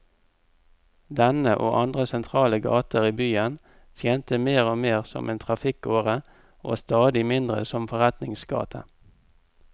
Denne, og andre sentrale gater i byen, tjente mer og mer som en trafikkåre og stadig mindre som forretningsgate.